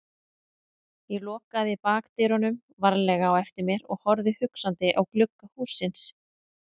Ég lokaði bakdyrunum varlega á eftir mér og horfði hugsandi á glugga hússins.